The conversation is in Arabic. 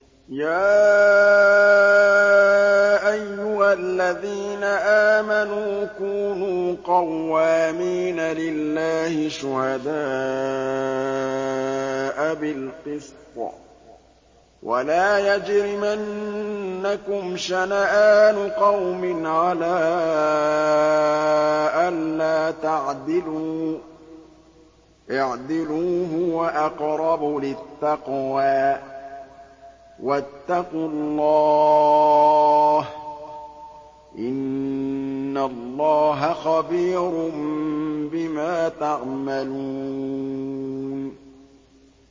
يَا أَيُّهَا الَّذِينَ آمَنُوا كُونُوا قَوَّامِينَ لِلَّهِ شُهَدَاءَ بِالْقِسْطِ ۖ وَلَا يَجْرِمَنَّكُمْ شَنَآنُ قَوْمٍ عَلَىٰ أَلَّا تَعْدِلُوا ۚ اعْدِلُوا هُوَ أَقْرَبُ لِلتَّقْوَىٰ ۖ وَاتَّقُوا اللَّهَ ۚ إِنَّ اللَّهَ خَبِيرٌ بِمَا تَعْمَلُونَ